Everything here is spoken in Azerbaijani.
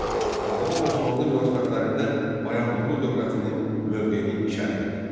Avropa-Osmanlı münasibətlərində Bayandurlu dövlətinin mövqeyini şərh etdi.